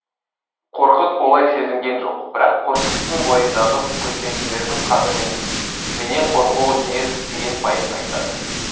қорқыт олай сезінген жоқ бірақ қорқыттың бойындағы көшпенділердің қаны менен қорқуы тиіс деген пайым айтады